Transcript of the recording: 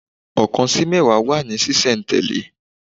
Ọ̀kan sí mẹ́wàá wà ní sí sẹ̀ tẹ̀lé